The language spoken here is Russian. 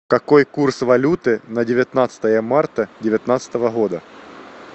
какой курс валюты на девятнадцатое марта девятнадцатого года